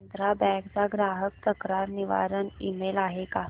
Andhra bank चा ग्राहक तक्रार निवारण ईमेल आहे का